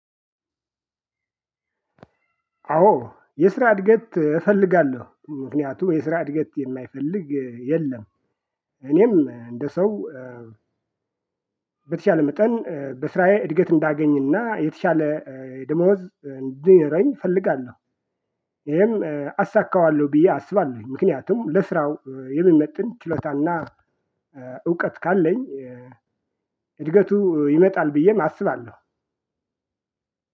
አዎ የስራ እድገት እፈልጋለሁ ምክንያቱም የስራ እድገት የማይፈልግ የለም። እኔም እንደ ሰው በተቻለ መጠን በስራዬ እድገት እንዳገኝና የተሻለ ደሞዝ እንዲኖረኝ እፈልጋለሁ። ይሄም አሳካዋለሁ ብዬ አስባለሁ። ምክንያቱም ለስራው የሚመጥን ችሎታና እውቀት ካለኝ እድገቱ ይመጣል ብዬም አስባለሁ።